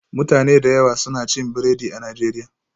Mutane da yawa suna cin biredi a Najeriya